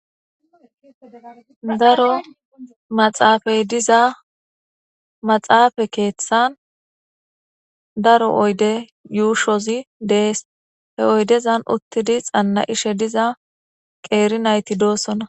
Daro maxaafay diza maxaafa keeththan daro oydde yuushozi dees. He oyddezan uttidi xanna'ishe diza qeeri nayti doossona.